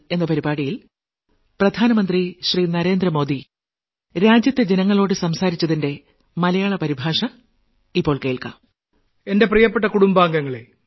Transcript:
എന്റെ പ്രിയപ്പെട്ട കുടുംബാംഗങ്ങളെ